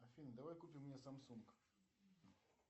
афина давай купим мне самсунг